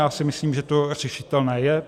Já si myslím, že to řešitelné je.